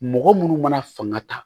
Mɔgɔ munnu mana fanga ta